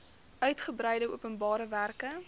uigebreide openbare werke